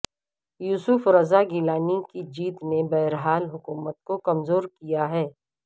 یوسف رضا گیلانی کی جیت نے بہرحال حکومت کو کمزور کیا ہے